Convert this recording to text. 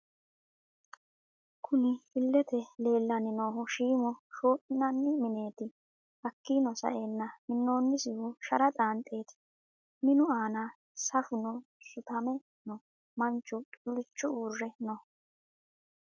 Kunni illete leelani noohu shiimå shoominanni mineeti hakiino sa'eena minoonisehu shara xaanxeti minu aana safuno sutame no Manchu xulicho uure no .